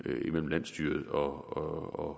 landsstyret og